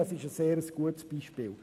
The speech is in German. Dies ist ein sehr gutes Beispiel.